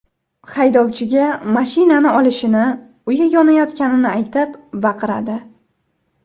Haydovchiga mashinani olishini, uyi yonayotganini aytib baqiradi.